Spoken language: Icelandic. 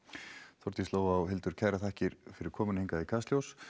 Þórdís Lóa og Hildur kærar þakkir fyrir komuna hingað í Kastljós